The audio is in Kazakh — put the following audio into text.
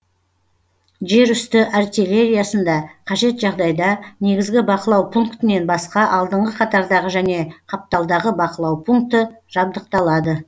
жер үсті артиллериясында кажет жағдайда негізгі бақылау пунктінен басқа алдыңғы қатардағы және қапталдағы бақылау пункті жабдықталады